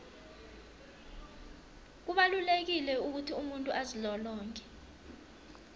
kubalulekile ukuthi umuntu azilolonge